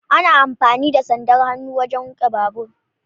Ana amfani da sandar hannu wajen riƙe babur.